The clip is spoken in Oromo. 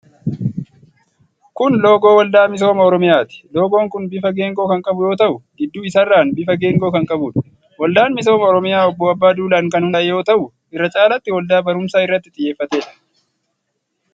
Kun loogoo Waldaa Misooma Oromiyaati. Loogoon kun bifa geengoo kan qabu yoo ta'u, gidduu isaarraan bifa geengoo kan qabuudha. Waldaan Misooma Oromiyaa Obbo Abbaa Duulaan kan hundaa'e yoo ta'u irra caalatti waldaa baruumsa irratti xiyyeeffateedha.